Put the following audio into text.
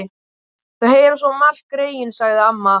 Þau heyra svo margt, greyin, sagði amma.